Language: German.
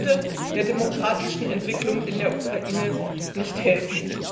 Das würde der demokratischen Entwicklung in der Ukraine nicht helfen.